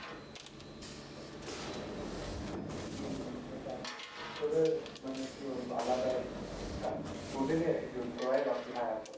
সেটাই। তোদের মানে কি বলবো আলাদাই একটা তোদেরই attitude তোরাই রকি ভাই আসল।